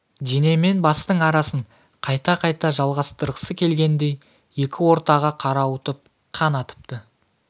дене мен бастың арасын қайта жалғастырғысы келгендей екі ортаға қарауытып қан атыпты